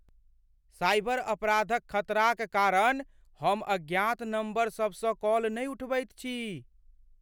Cyber अपराधक खतराक कारण हम अज्ञात नम्बरसभसँ कॉल नहि उठबैत छी।